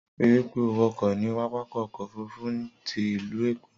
Ri wípé o wọkọ̀ ní pápákọ̀ ọkọ ofurufu ti ìlú Èkó